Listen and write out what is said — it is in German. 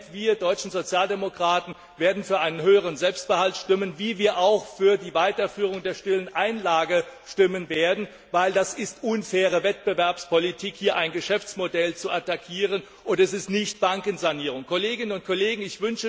Wir deutschen Sozialdemokraten werden für einen höheren Selbstbehalt stimmen, so wie wir auch für die Weiterführung der stillen Einlage stimmen werden, weil es eine unfaire Wettbewerbspolitik ist, hier ein Geschäftsmodell zu attackieren, und nichts mit Bankensanierung zu tun hat.